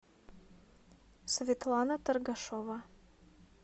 светлана торгашова